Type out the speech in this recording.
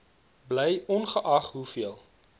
bly ongeag hoeveel